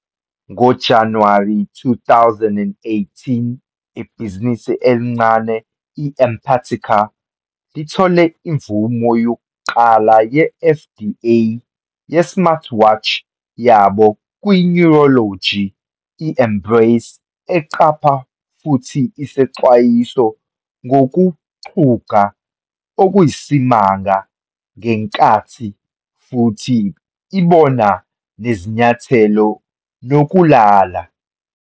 NgoJanuwari 2018, ibhizinisi elincane, i-Empatica, lithole imvume yokuqala ye-FDA ye-smartwatch yabo kwi-Neurology, i-Embrace, eqapha futhi isexwayisa ngokuxhuga okuyisimanga, ngenkathi futhi ibona nezinyathelo nokulala.